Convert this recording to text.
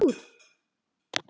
Ertu bara komin upp úr?